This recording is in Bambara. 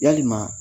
Yalima